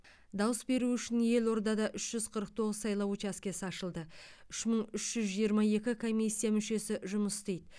дауыс беру үшін елордада үш жүз қырық тоғыз сайлау учаскесі ашылды үш мың үш жүз жиырма екі комиссия мүшесі жұмыс істейді